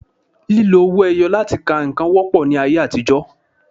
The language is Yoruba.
Lílo owó ẹyọ láti ka nǹkan wọ́pọ̀ ní ayé àtijọ́